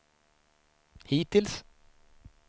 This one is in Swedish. hittills